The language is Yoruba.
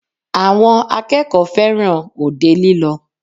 Àwọn akẹ́kọ̀ọ́ fẹràn òde lílọ.